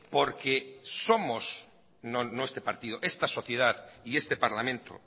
porque somos no este partido sino esta sociedad y este parlamento